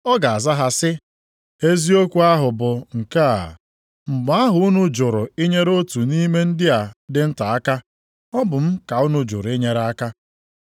“Ọ ga-aza ha sị, ‘Eziokwu ahụ bụ nke a, mgbe ahụ unu jụrụ inyere otu nʼime ndị a dị nta aka, ọ bụ m ka unu jụrụ i nyere aka.’